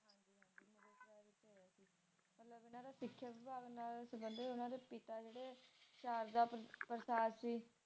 ਸੀ ਓਹਨਾ ਦੇ ਪਿਤਾ ਜੀ ਨੇ ਅਚਾਰ ਦਾ ਪ੍ਰਸ਼ਾਦ ਸੀ